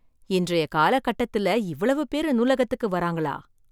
இன்றைய காலகட்டத்தில் இவ்வளவு பேரு நூலகத்துக்கு வராங்களா!